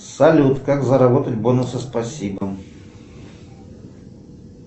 салют как заработать бонусы спасибо